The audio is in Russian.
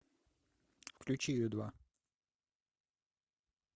включи ю два